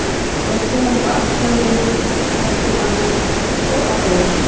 Doddi var eitthvað ankannalegur líka, talaði ekki um annað en pólitík og áróður.